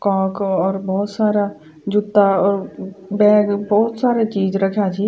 कॉक और भोत सारा जुत्ता और ब-बैग भोत सारा चीज रख्याँ छी।